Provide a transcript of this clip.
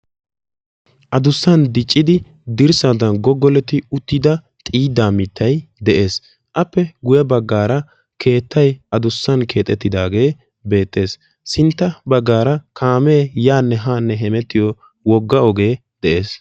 Addussan dicciddi dirssadan goggoletti uttida xiiddaa mittay de'ees. Appe guye baggaara keettay addussan keexxettidaagee beettees. Sintta baggaara kaammee yaanne haanne heemettiyo wogga ogee de'ees